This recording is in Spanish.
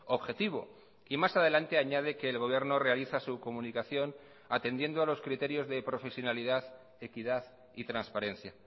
objetivo y más adelante añade que el gobierno realiza su comunicación atendiendo a los criterios de profesionalidad equidad y transparencia